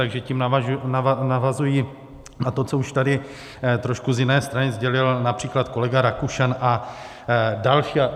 Takže tím navazuji na to, co už tady trošku z jiné strany sdělil například kolega Rakušan a další.